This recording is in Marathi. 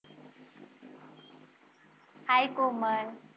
Hi कोमल